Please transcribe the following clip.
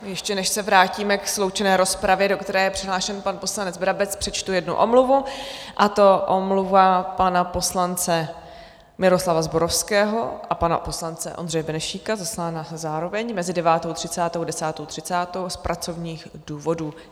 Ještě než se vrátíme k sloučené rozpravě, do které je přihlášen pan poslanec Brabec, přečtu jednu omluvu, a to omluvu pana poslance Miroslava Zborovského a pana poslance Ondřeje Benešíka, zaslány zároveň, mezi 9.30 a 10.30 z pracovních důvodů.